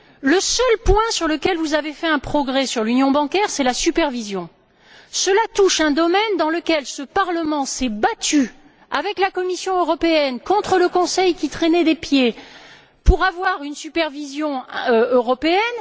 Le seul point sur lequel vous avez fait des progrès au niveau de l'union bancaire, c'est la supervision. Cela touche un domaine dans lequel ce Parlement s'est battu avec la Commission européenne contre le Conseil qui traînait les pieds, pour avoir une supervision européenne.